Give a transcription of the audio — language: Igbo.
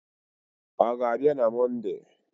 Ọ ga-abịa na Mọnde?